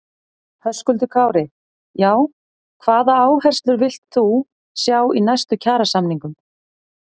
Höskuldur Kári: Já, hvaða áherslur villt þú sjá í næstu kjarasamningum?